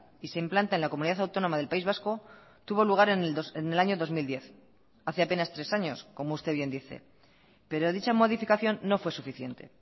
y se implanta en la comunidad autónoma del país vasco tuvo lugar en el año dos mil diez hace apenas tres años como usted bien dice pero dicha modificación no fue suficiente